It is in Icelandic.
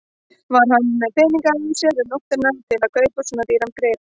Var hann með peninga á sér um nóttina til þess að kaupa svona dýran grip?